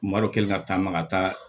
Malo kɛlen ka taa maka taa